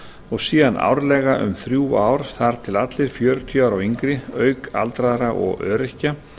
og síðan árlega um þrjú ár þar til allir fjörutíu ára og yngri auk aldraðra og öryrkja